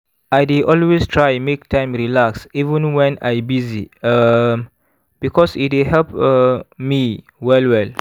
i dey always try make time relax even wen i busy um because e dey help um me well well.